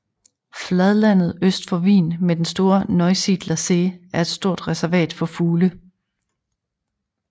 Fladlandet øst for Wien med den store Neusiedler See er et stort reservat for fugle